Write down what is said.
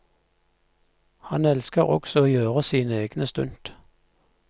Han elsker også å gjøre sine egne stunt.